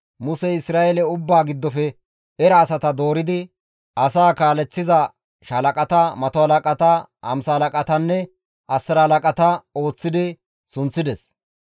Musey Isra7eele ubbaa giddofe era asata dooridi asaa kaaleththiza shaalaqata, mato halaqata, hamsa halaqatanne asira halaqata histti sunththides.